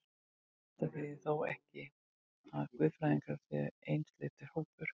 Þetta þýðir þó ekki, að guðfræðingar séu einsleitur hópur.